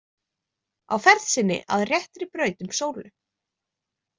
Á ferð sinni að réttri braut um sólu.